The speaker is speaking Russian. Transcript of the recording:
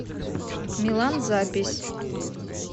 милан запись